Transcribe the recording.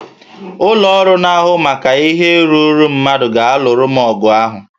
Ụlọ ọrụ na-ahụ maka ihe ruuru mmadụ ga-alụrụ m ọgụ ahụ